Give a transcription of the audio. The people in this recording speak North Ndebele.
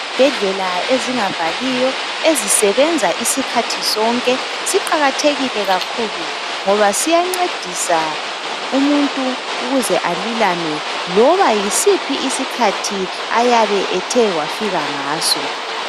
Izibhedlela ezingavaliyo ezisebenza isikhathi sonke siqakathekile kakhulu. Ngoba siyancedisa umuntu ukuze alulame ,loba yisiphi isikhathi ayabe ethe wafika ngaso.